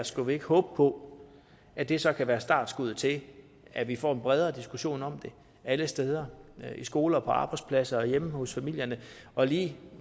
skal vi ikke håbe på at det så kan være startskuddet til at vi får en bredere diskussion om det alle steder i skoler på arbejdspladser og hjemme hos familierne og vi